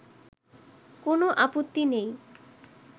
কোন আপত্তি নেই